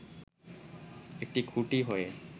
একটি খুঁটি হয়ে